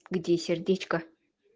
где сердечко